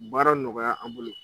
Baara bɛ nɔgɔya an bolo.